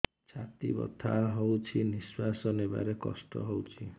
ଛାତି ବଥା ହଉଚି ନିଶ୍ୱାସ ନେବାରେ କଷ୍ଟ ହଉଚି